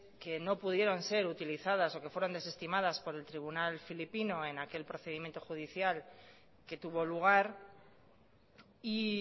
que no pudieron ser utilizadas o que fueron desestimadas por el tribunal filipino en aquel procedimiento judicial que tuvo lugar y